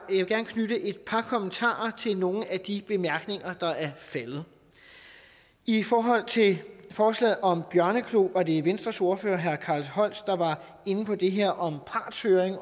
knytte et par kommentarer til nogle af de bemærkninger der er faldet i forhold til forslaget om bjørneklo var det venstres ordfører herre carl holst der var inde på det her om partshøring